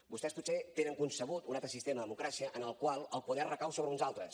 vostès potser tenen concebut un altre sistema de democràcia en el qual el poder recau sobre uns altres